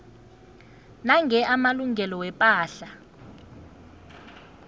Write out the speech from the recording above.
nange amalungelo wepahla